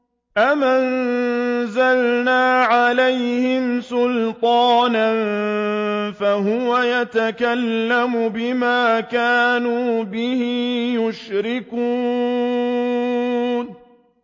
أَمْ أَنزَلْنَا عَلَيْهِمْ سُلْطَانًا فَهُوَ يَتَكَلَّمُ بِمَا كَانُوا بِهِ يُشْرِكُونَ